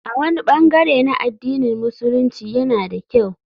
A wani bangare na addinin Musulunci yana da kyau.